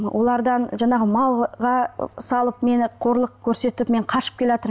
олардан жаңағы малға салып мені қорлық көрсетіп мен қашып келеатырмын